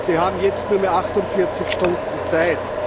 Sie haben jetzt nur mehr achtundvierzig Stunden Zeit.